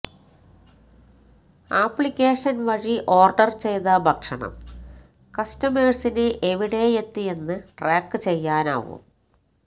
ആപ്ലിക്കേഷന് വഴി ഓര്ഡര് ചെയ്ത ഭക്ഷണം കസ്റ്റമേഴ്സിന് എവിടെയെത്തിയെന്ന് ട്രാക്ക് ചെയ്യാനാവും